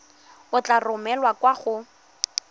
e tla romelwa kwa go